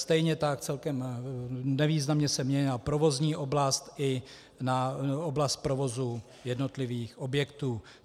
Stejně tak celkem nevýznamně se měnila provozní oblast i na oblast provozu jednotlivých objektů.